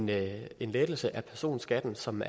lave en lettelse af personskatten som